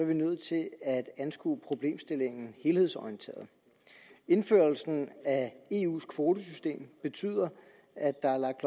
vi nødt til at anskue problemstillingen helhedsorienteret indførelsen af eus kvotesystem betyder at der er lagt